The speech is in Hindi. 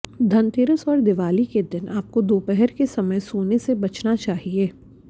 धनतेरस और दिवाली के दिन आपको दोपहर के समय सोने से बचना चाहिए